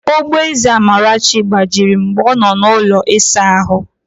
Ogboeze Amarachi gbajiri mgbe ọ nọ n'ụlọ ịsa ahụ